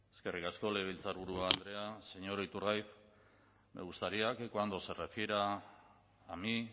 eskerrik asko legebiltzarburu andrea señor iturgaiz me gustaría que cuando se refiera a mí